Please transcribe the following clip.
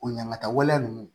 O ɲaŋaa waleya ninnu